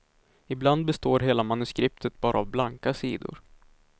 Ibland består hela manuskriptet bara av blanka sidor.